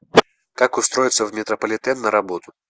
как устроиться в метрополитен на работу